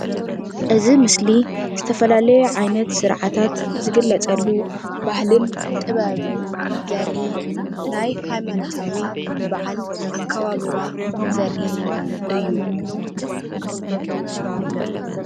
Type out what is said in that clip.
እዚ ምስሊ ዝተፈላለየ ዓይነት ስርዓታት ዝግለፀሉ ባህልን ጥበብን ዘርኢ ናይ ሃይማኖታዊ በዓል ኣከባብራ ዘርኢ እዩ።